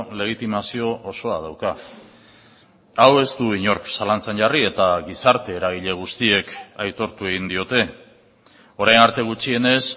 legitimazio osoa dauka hau ez du inork zalantzan jarri eta gizarte eragile guztiek aitortu egin diote orain arte gutxienez